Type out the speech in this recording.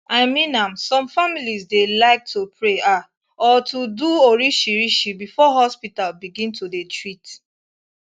i mean am some family dey like to pray ah or to do orishirishi before hospital begin to dey treat